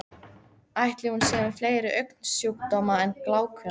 Ætli hún sé með fleiri augnsjúkdóma en glákuna?